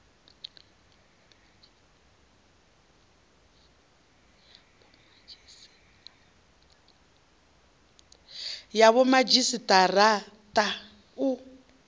ya vhomadzhisi ara a u